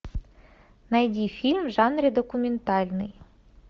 найди фильм в жанре документальный